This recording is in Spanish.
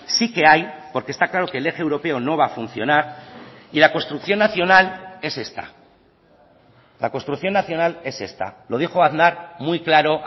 sí que hay porque está claro que el eje europeo no va a funcionar y la construcción nacional es esta la construcción nacional es esta lo dijo aznar muy claro